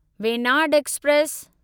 Venad express